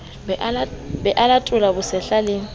be a latole bosehla le